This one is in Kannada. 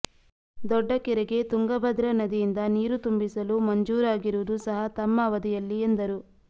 ದೊಡ್ಡ ಕೆರೆಗೆ ತುಂಗಭದ್ರ ನದಿಯಿಂದ ನೀರು ತುಂಬಿಸಲು ಮಂಜೂರಾಗಿರುವುದು ಸಹ ತಮ್ಮ ಅವಧಿಯಲ್ಲಿ ಎಂದರು